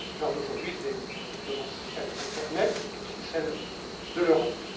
L'heure d'aujourd'hui c'est naturellement celle de l'internet, c'est aussi celle de l'Europe.